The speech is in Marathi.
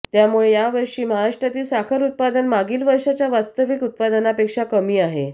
त्यामुळे यावषी महाराष्ट्रातील साखर उत्पादन मागील वर्षाच्या वास्तविक उत्पादनापेक्षा कमी आहे